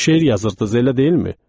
Şeir yazırdız, elə deyilmi?